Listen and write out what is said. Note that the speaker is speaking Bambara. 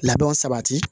Labɛnw sabati